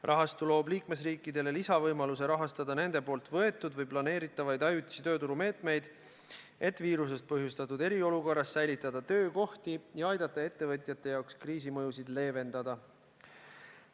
Rahastu loob liikmesriikidele lisavõimaluse rahastada nende võetud või planeeritavaid ajutisi tööturumeetmeid, et viirusest põhjustatud eriolukorras säilitada töökohti ja aidata ettevõtjate jaoks kriisi mõjusid leevendada.